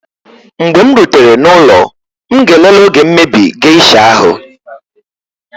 mgbe m rutere n'ụlọ m ga-elele oge mmebi geisha ahu